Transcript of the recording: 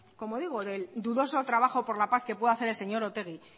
como digo del dudoso trabajo por la paz que pueda hacer el señor otegi